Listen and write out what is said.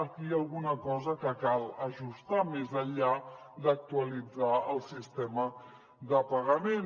aquí hi ha alguna cosa que cal ajustar més enllà d’actualitzar el sistema de pagament